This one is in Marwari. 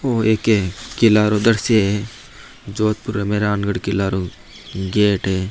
ओ एक किला उधर से जोधपुर में राम गढ़ किलारु गेट है।